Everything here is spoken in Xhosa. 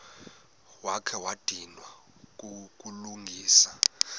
wakha wadinwa kukulungisa